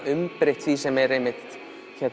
umbreytt því sem er einmitt